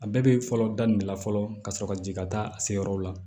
A bɛɛ bɛ fɔlɔ daminɛ la fɔlɔ ka sɔrɔ ka jigin ka taa a se yɔrɔ la